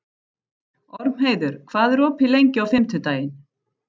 Ormheiður, hvað er opið lengi á fimmtudaginn?